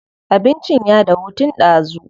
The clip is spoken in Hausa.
Abincin ya dahu tun ɗazu.